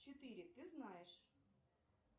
четыре ты знаешь